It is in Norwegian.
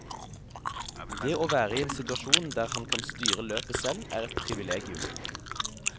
Det å være i en situasjon der han kan styre løpet selv er et privilegium.